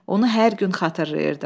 Onu hər gün xatırlayırdım.